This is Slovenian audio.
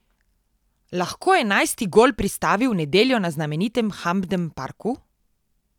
Lahko enajsti gol pristavi v nedeljo na znamenitem Hampden Parku?